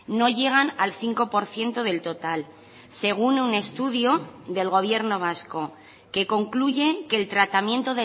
no llegan al cinco por ciento del total según un estudio del gobierno vasco que concluye que el tratamiento